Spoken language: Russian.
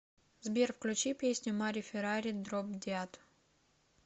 сбер включи песню мари феррари дроб деад